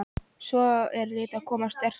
Svo er Létt að koma sterk inn Uppáhaldsdrykkur?